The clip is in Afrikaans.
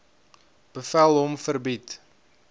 bevel hom verbied